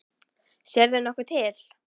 Sérðu nokkuð til?